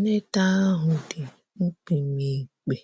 Nleta ahu ndi mkpimikpi,